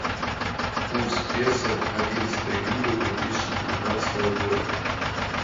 курс песо одиннадцатое июля две тысячи девятнадцатого года